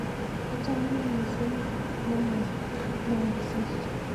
Achamin missing' ne ma mwooksey